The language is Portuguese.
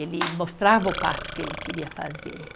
Ele mostrava o passo que ele queria fazer.